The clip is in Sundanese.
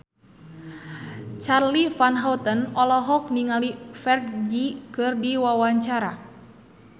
Charly Van Houten olohok ningali Ferdge keur diwawancara